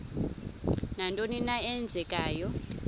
nantoni na eenzekayo